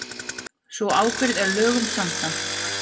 Sú ábyrgð er lögum samkvæmt